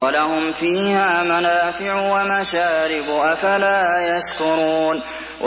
وَلَهُمْ فِيهَا مَنَافِعُ وَمَشَارِبُ ۖ أَفَلَا يَشْكُرُونَ